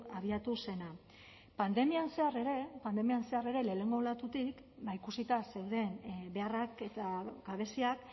abiatu zena pandemian zehar ere pandemian zehar ere lehenengo olatutik ba ikusita zeuden beharrak eta gabeziak